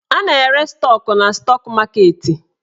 A na-ere stọk na stọk maketi.